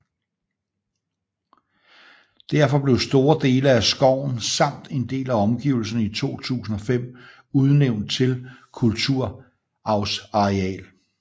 Derfor blev store dele af skoven samt en del af omgivelserne i 2005 udnævnt til Kulturarvsareal